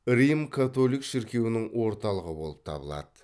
рим католик шіркеуінің орталығы болып табылады